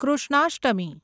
Krishnashtami